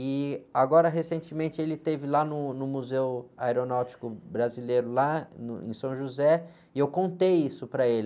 E agora, recentemente, ele esteve lá no, no Museu Aeronáutico Brasileiro, lá, no, em São José, e eu contei isso para ele.